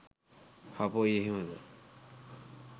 හපොයි එහෙමද?